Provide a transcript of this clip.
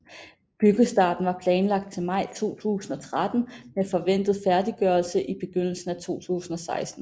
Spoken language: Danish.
Byggestarten var planlagt til maj 2013 med forventet færdiggørelse i begyndelsen af 2016